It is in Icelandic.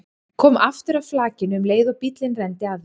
Kom aftur að flakinu um leið og bíllinn renndi að því.